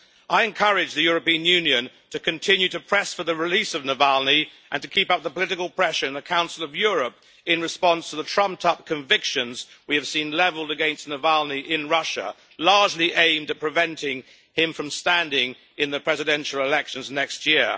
I encourage the European Union to continue to press for the release of Navalny and to keep up the political pressure in the Council of Europe in response to the trumped up convictions we have seen levelled against Navalny in Russia, largely aimed at preventing him from standing in the presidential elections next year.